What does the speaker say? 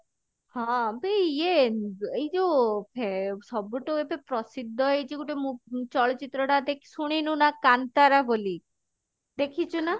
ହଁ ବେ ଇଏ ଏଇ ଯଉ ଫେ ସବୁ ଠୁ ଏବେ ପ୍ରସିଦ୍ଧ ହେଇଛି ଗୋଟେ ମୁ ଚଳଚିତ୍ର ଟା ଦେ ଶୁଣିନୁ ନା କାନ୍ତାରା ବୋଲି ଦେଖିଛୁ ନା?